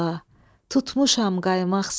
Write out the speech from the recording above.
tutmuşam qaymaq sənə.